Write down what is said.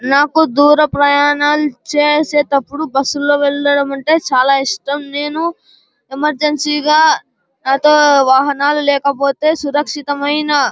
నాకు దూర ప్రయానాలు చేసేటప్పుడు బస్సు లో వెళ్లడం అంటే చాలా ఇష్టం. నేను ఎమెర్జెన్సీగా గ వాహనాలు లేకపోతే సురక్షితమైన --